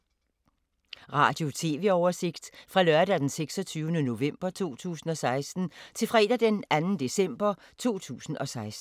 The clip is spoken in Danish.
Radio/TV oversigt fra lørdag d. 26. november 2016 til fredag d. 2. december 2016